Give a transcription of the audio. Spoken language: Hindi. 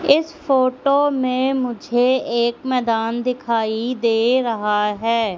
इस फोटो में मुझे एक मैदान दिखाई दे रहा है।